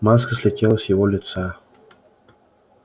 маска слетела с его лица